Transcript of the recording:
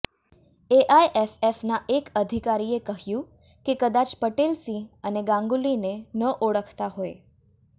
એઆઈએફએફના એક અધિકારીએ કહ્યું કે કદાચ પટેલ સિંહ અને ગાંગૂલીને ન ઓળખતા હોય